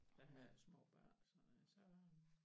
Der havde jeg må børn og sådan noget så